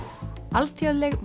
alþjóðleg